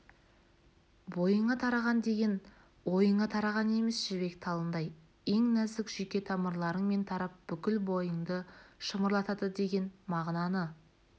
бойыңа тараған деген ойыңа тараған емес жібек талындай ең нәзік жүйке тамырларыңмен тарап бүкіл бойыңды шымырлатады деген мағынаны